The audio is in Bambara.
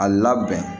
A labɛn